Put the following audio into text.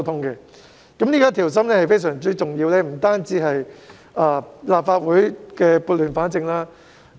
這種上下一心，是非常重要的，讓立法會撥亂反正。